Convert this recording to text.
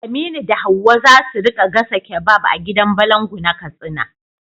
Aminu da Hawwa za su rika gasa kebab a gidan balangu na Katsina.